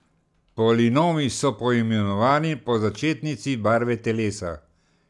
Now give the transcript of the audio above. Polinomi so poimenovani po začetnici barve telesa.